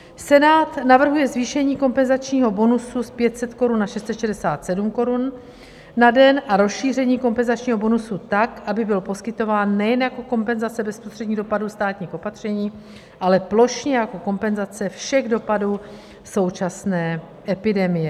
Senát navrhuje zvýšení kompenzačního bonusu z 500 korun na 667 korun na den a rozšíření kompenzačního bonusu tak, aby byl poskytován nejen jako kompenzace bezprostředních dopadů státních opatření, ale plošně jako kompenzace všech dopadů současné epidemie.